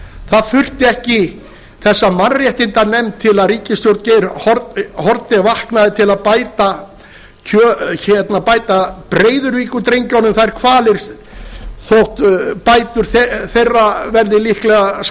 það þurfti ekki þessa mannréttindanefnd til að ríkisstjórn geir haarde vaknaði til að bæta breiðavíkurdrengjunum þeirra kvalir þótt bætur þeirra verði líklega